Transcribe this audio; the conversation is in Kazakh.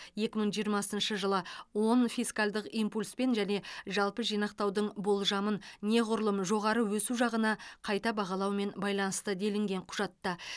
екі мың жиырмасыншы жылы оң фискалдық импульспен және жалпы жинақтаудың болжамын неғұрлым жоғары өсу жағына қайта бағалаумен байланысты делінген құжатта